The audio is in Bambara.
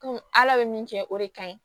ala be min kɛ o de ka ɲi